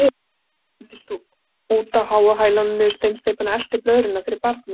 Alda hendist út á háu hælunum niður steinsteypuna, eltir blöðruna fyrir barnið.